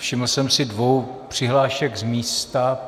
Všiml jsem si dvou přihlášek z místa.